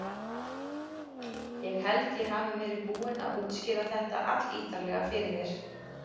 Ég held ég hafi verið búinn að útskýra þetta allítarlega fyrir þér.